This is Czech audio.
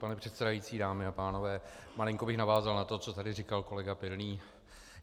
Pane předsedající, dámy a pánové, malinko bych navázal na to, co tady říkal kolega Pilný.